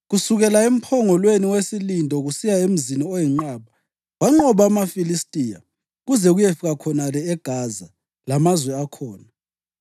Kusukela emphongolweni wesilindo kusiya emzini oyinqaba, wanqoba amaFilistiya, kuze kuyefika khonale eGaza lamazwe akhona.